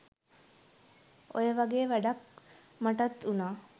ඔය වගේ වැඩක් මටත් උනා